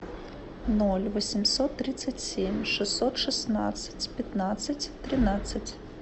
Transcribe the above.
ноль восемьсот тридцать семь шестьсот шестнадцать пятнадцать тринадцать